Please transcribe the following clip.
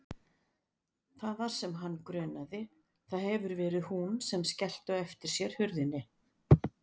Það var sem hann grunaði, það hefur verið hún sem skellti á eftir sér hurðinni.